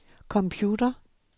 computer